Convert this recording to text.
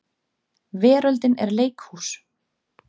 Veröldin er leikhús.